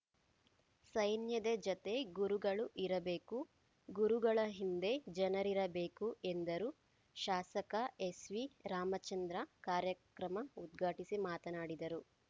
ಸೈನ್ಯದ ಜತೆ ಗುರುಗಳು ಇರಬೇಕು ಗುರುಗಳ ಹಿಂದೆ ಜನರಿರಬೇಕು ಎಂದರು ಶಾಸಕ ಎಸ್‌ವಿ ರಾಮಚಂದ್ರ ಕಾರ್ಯಕ್ರಮ ಉದ್ಘಾಟಿಸಿ ಮಾತನಾಡಿದರು